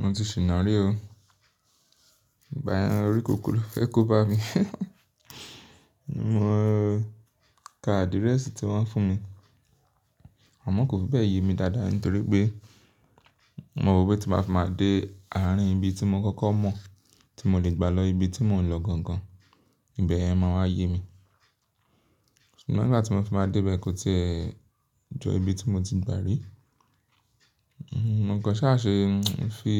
Mo ti ṣìna rí o. Ìgbà yẹn, orí kunkun ló fẹ́ kó bá mi. Mo ka address tí wọ́n fún mi. Amọ kò fi bẹ́ẹ̀ yé mi dáadáa nítorí pé mo rò pé tí n bá fi máa dé àárín ibi tí mo kọ́kọ́ mọ̀ tí mo lè gbà lọ ibi tí mò ń lọ gangan, ìbẹ̀ yẹn máa wá yé mi. Ṣùgbọ́n nígbà tí mo fi máa dé bẹ́ẹ̀ kò ti jọ ibi tí mo ti gbà rí. Mo kàn ṣà ṣe, fi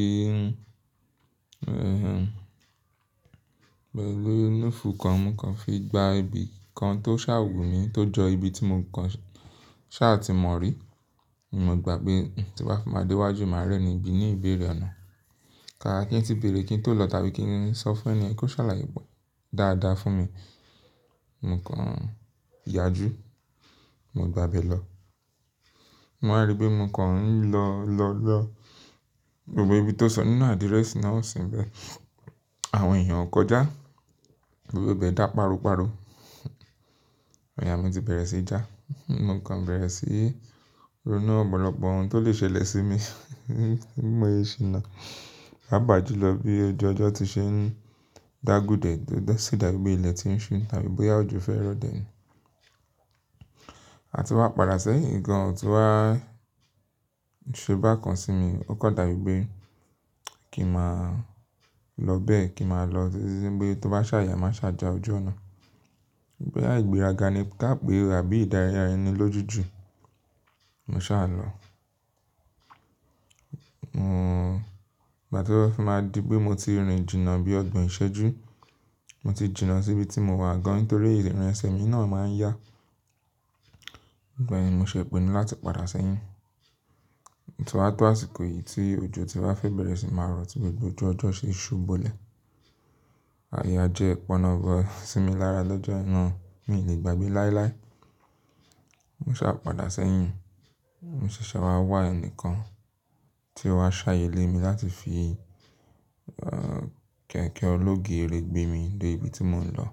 eh-eh-eh gbó inú fu kan mo kan fi gba ibi kan tó ṣàa wù mí tó jọ ibi tí mo kàn ṣà ti mọ̀ rí. Mo gbà pé tí n bá fi máa dé iwájú máa rí ẹ́ni bí ní ìbéèrè ọ̀nà. Kàkà kí n ti béèrè kí n tó lọ tàbí kí n sọ fún ẹni yẹn kí ó ṣàlàyé dáadáa fún mi. Mo kàn yàjú, mo gbà bẹ́ lọ. Mo wá rí pé mo kàn ń lọ lọ lọ, gbogbo ibi tó sọ nínú address náà ò sì ń bẹ. Àwọn èèyàn kọjá, gbogbo ibẹ̀ dá páro páro. Ayà mi ti bẹ̀rẹ̀ sí í já. Mo kàn bẹ̀rẹ̀ sí ronú ọ̀pọ̀lọ̀pọ̀ ohun tó lè ṣẹlẹ̀ sí mi. Bí mo ṣe ṣìnà, pàápà júlọ bí ojú ọjọ́ ti ṣe ń dàgúdẹ̀ẹ́, tí o dá sí dàbí ilẹ̀ ti ń ṣú tàbí bóyá òjò fẹ́ rọ̀ dẹ̀ ni. A ti wá padà sẹ́yìn, ǹkan tí wàá ṣe bákan sí mi, ó kan dàbí pé kí n màá lọ bẹ́ẹ̀ kí n màá lọ tititi wí pé tó bá ṣàa yà má ṣàa jà ojú ọ̀nà. Bóyá igbéraga ni ká pé o, àbí ìdára ẹni lójú jù. Mo ṣàá ń lọ. Mò, ìgbà tí ó fi máa di pé mo ti rìn jìnà bí ọgbọ̀n ìṣẹ́jú, mo ti jìnà sí ibi tí mo wà gan nítorí ìrìn ẹsẹ̀ mi náà máa ń yá. Ìgbà yẹn ni mo ṣe pinu láti padà sẹ́yìn. Ó ti wá tó àsìkò yìí tí òjò ti wá fẹ́ bẹ̀rẹ̀ sí ni máa rọ̀ tí gbogbo ojú ọjọ́ ṣe ṣú bo ilẹ̀. Àyà já pọ̀nọ́bọ sí mi lára lọ́jọ́ náà, mi ò lè gbàgbé láíláí. Mo ṣàá padà sẹ́yìn, mo ṣẹ̀ṣẹ̀ wá wà ẹnìkan tí ó wá ṣàyè lé mi láti fi eh kẹ̀kẹ́ ológéré gbé mi dé ibi tí mò ń lọ.